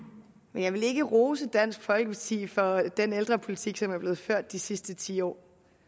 men jeg vil ikke rose dansk folkeparti for den ældrepolitik som er blevet ført de sidste ti år